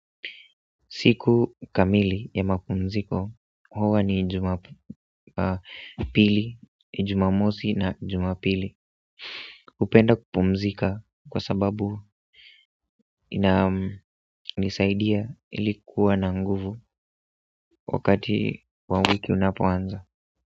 Siku kamili ya mapumziko, huwa ni Jumapili, Jumamosi na Jumapili hupenda kupumzika kwa sababu ina nisaidia iili kuwa na nguvu wakati wa wiki unapoanza.